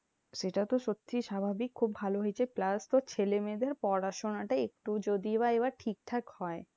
সেটা তো সত্যি স্বাভাবিক খুব ভালো হয়েছে plus তোর ছেলেমেয়েদের পড়াশোনাটা একটু যদি বা এইবার ঠিকঠাক হয়।